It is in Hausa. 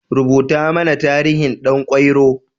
Rubuta mana tarihin Ɗan kwairo.